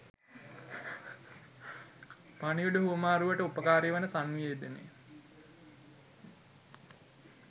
පණිවිඩ හුවමාරුවට උපකාරී වන සන්නිවේදනය,